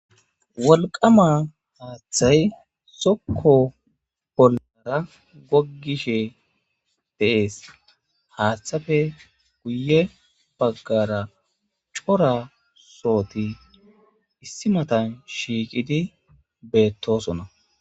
Wolqama haaththay sokko pollara gogishe dees haaththafe guye baggara cora sooti issi matan shiiqidi beettosona.